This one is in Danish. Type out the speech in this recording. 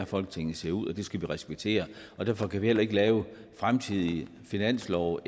folketinget ser ud og det skal vi respektere derfor kan vi ikke lave fremtidige finanslove og